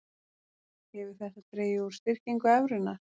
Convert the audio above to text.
Hefur þetta dregið úr styrkingu evrunnar